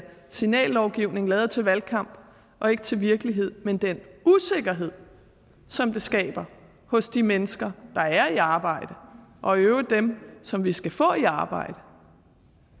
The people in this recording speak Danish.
signallovgivning lavet til valgkamp og ikke til virkelighed men den usikkerhed som det skaber hos de mennesker der er i arbejde og i øvrigt dem som vi skal få i arbejde